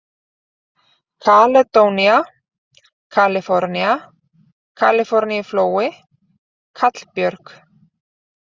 Kaledónía, Kalifornía, Kaliforníuflói, Kallbjörg